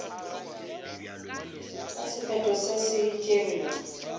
ka sephetho se se tšerwego